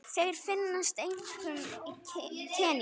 Þeir finnast einkum í Kenía.